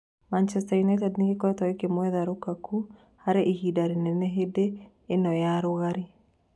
Maũndũ United nĩ gĩkoretwo gĩkĩmwetha Rukaku harĩ ihinda rĩnene hĩndĩ ĩno ya rũgarĩ.